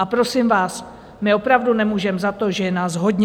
A prosím vás, my opravdu nemůžeme za to, že je nás hodně.